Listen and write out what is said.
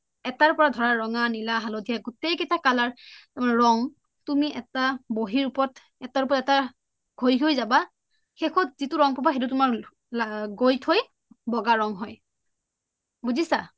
এটাৰ ওপৰত ধৰা ৰঙা, নীলা হালধীয়া গোটেই কেইটা color ৰং তুমি এটা বহিৰ উপৰত এটাৰ ওপৰত এটা গোহি গোহি যাবা শেষত যিটো তুমি ৰং পাবা সেইটো তুমাৰ গৈ থই বগা ৰং হয় বুজিচা?